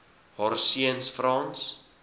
haar seuns frans